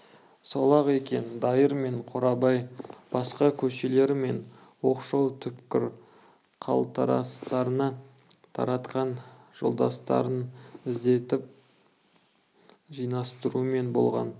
сол-ақ екен дайыр мен қорабай басқа көшелері мен оқшау түкпір қалтарыстарына таратқан жолдастарын іздетіп жинастырумен болған